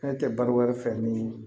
Fɛn tɛ baro wɛrɛ fɛ ni